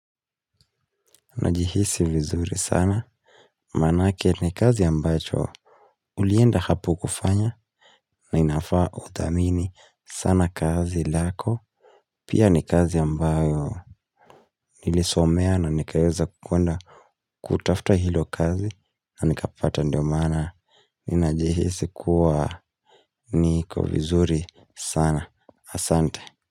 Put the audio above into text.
Najihisi vizuri sana, maanake ni kazi ambacho ulienda hapo kufanya na inafaa udhamini sana kazi lako. Pia ni kazi ambayo nilisomea na nikaeza kuona kutafta hilo kazi na nikapata ndio mana. Ninajihisi kuwa niko vizuri sana. Asante.